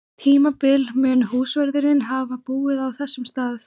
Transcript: tímabili mun húsvörðurinn hafa búið á þessum stað.